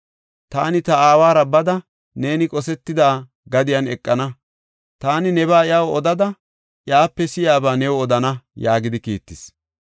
Taani ta aawara bada, neeni qosetida gadiyan eqana; taani nebaa iyaw odada, iyape si7iyaba new odana” yaagidi kiittis.